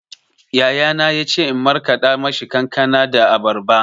Yayana ya ce in markaɗa mishi kankana da abarba.